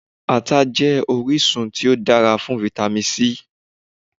Ata jẹ́ orísun tí ó dára tí Vitamin C.